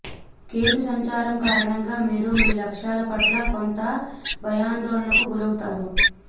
కేతు సంచారం కారణంగా మీరు మీ లక్ష్యాల పట్ల కొంత భయాందోళనకు గురవుతారు